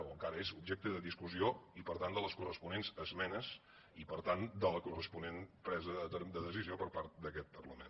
o encara és objecte de discussió i per tant de les corresponents esmenes i per tant de la corresponent presa de decisió per part d’aquest parla·ment